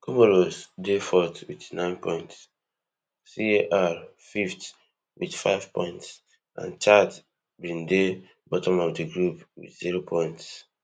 comoros dey fourth also wit nine points car fifth wit five points and chad bin dey bottom of di group wit zero points